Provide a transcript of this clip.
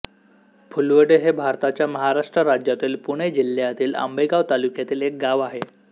फुलवडे हे भारताच्या महाराष्ट्र राज्यातील पुणे जिल्ह्यातील आंबेगाव तालुक्यातील एक गाव आहे